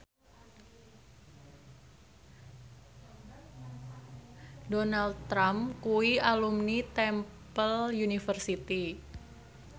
Donald Trump kuwi alumni Temple University